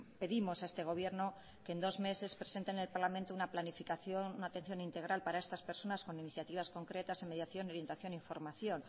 pedimos a este gobierno que en dos meses presente en el parlamento una planificación una atención integral para estas personas con iniciativas concretas en mediación orientación y formación